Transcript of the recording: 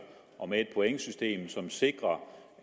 og med et pointsystem som sikrer